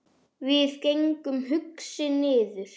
Við gengum hugsi niður